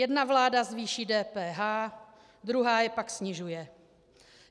Jedna vláda zvýší DPH, druhá je pak snižuje.